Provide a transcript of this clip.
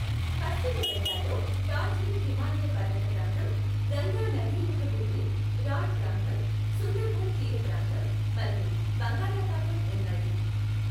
పశ్చిమ బెంగాల్లో డార్జిలింగ్ హిమాలయ పర్వత ప్రాంతం, గంగా నదీముఖ భూమి, రాఢ్ ప్రాంతం, సుందర్బన్ తీరప్రాంతం, మరియు బంగాళాఖాతం ఉన్నాయి.